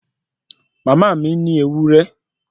Mama ni ní ewúré